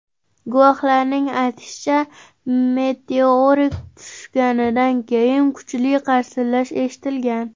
Guvohlarning aytishicha, meteorit tushganidan keyin kuchli qarsillash eshitilgan.